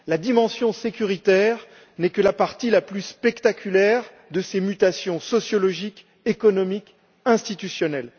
La dimension sécuritaire n'est que la partie la plus spectaculaire de ces mutations sociologiques, économiques et institutionnelles.